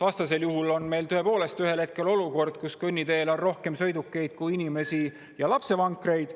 Vastasel juhul on meil tõepoolest ühel hetkel olukord, kus kõnniteel on rohkem sõidukeid kui inimesi ja lapsevankreid.